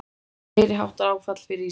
Meiriháttar áfall fyrir Ísland